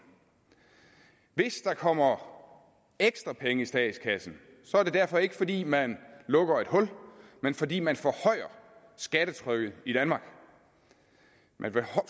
hvis der kommer ekstra penge i statskassen er det derfor ikke fordi man lukker et hul men fordi man forhøjer skattetrykket i danmark man